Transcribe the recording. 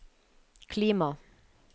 klima